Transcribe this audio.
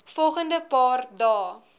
volgende paar dae